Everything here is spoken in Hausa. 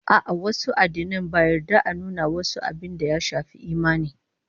A'a, wasu addinan ba yarda a nuna wasu abin da ya shafi imani